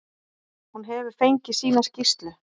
Hún hefur fengið sína skýrslu.